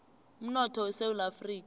umnotho wesewula afrika